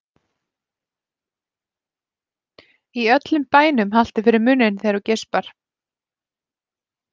Í öllum bænum haltu fyrir munninn þegar þú geispar.